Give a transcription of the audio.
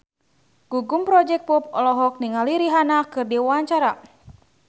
Gugum Project Pop olohok ningali Rihanna keur diwawancara